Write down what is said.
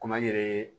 Komi an yɛrɛ